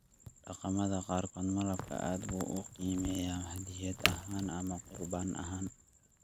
Dhaqamada qaarkood, malabku aad buu u qiimeeyaa hadyad ahaan ama qurbaan ahaan.